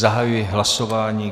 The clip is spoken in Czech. Zahajuji hlasování.